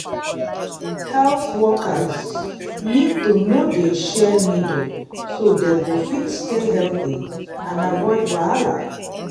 health workers need to no dey share needle so dem go fit stay healthy and avoid wahala